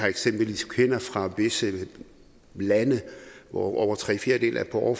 eksempelvis kvinder fra visse lande hvor over tre fjerdedele er på